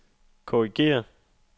korrigér